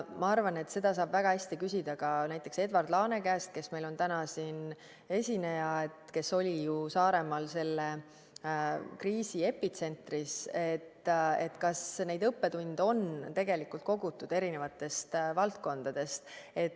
Ma arvan, et seda saab väga hästi küsida ka näiteks Edward Laane käest, kes on meil täna siin esineja – tema oli ju Saaremaal kriisi epitsentris –, kas neid õppetunde on kogutud erinevatest valdkondadest.